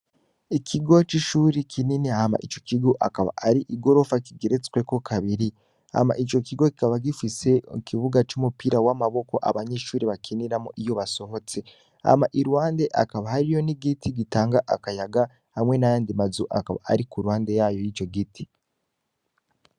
Ikigo c'ishuri kinini hama ico kigo akaba ari i gorofa kigeretsweko kabiri, hama ico kigo kaba gifise mu kibuga c'umupira w'amaboko abanyeshuri bakiniramwo iyo basohotse ama iruhande akaba hariyo nigiti gitanga akayaga hamwe nayandi mazu akaba ari ku ruhande yayo y'ico giti.